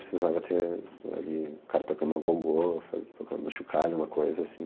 Precisava ter ali um cara tocando agogô, faz tocando um chocalho, uma coisa assim.